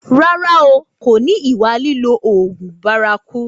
Rárá o, kò ní ìwà lílo oògùn bárakú